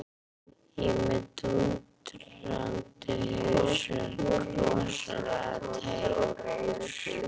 Ég er með dúndrandi hausverk, rosalega tæpur.